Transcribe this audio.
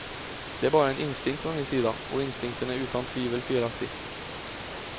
Det är bara en instinkt från min sida, och instinkten är utan tvivel felaktig.